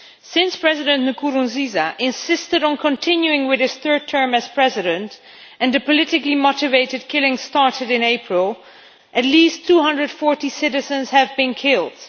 Since President Nkurunziza insisted on continuing with his third term as President, and the politically motivated killings started in April, at least 240 citizens have been killed.